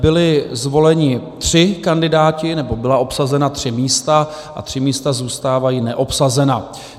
Byli zvoleni tři kandidáti, nebo byla obsazena tři místa a tři místa zůstávají neobsazena.